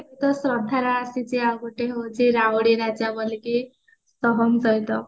ତ ଶ୍ରଦ୍ଧାର ଆସିଛି ଆଉ ଗୋଟେ ହଉଚି ସହମ ସହିତ